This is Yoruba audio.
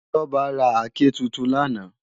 Toba rá àké tútún làná